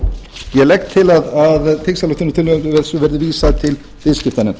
ég legg til að þingsályktunartillögunni verði vísað til viðskiptanefndar